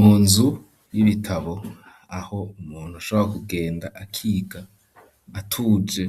Mu nzu y'ibitabo, aho umuntu ashabora kugenda akiga atuje;